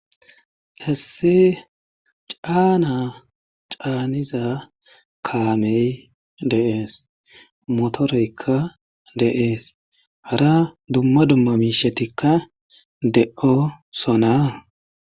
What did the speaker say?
Issi caana caaniza kaame de'es. motorekka de'ees. Hara dumma dumma miishatikka de'oosona.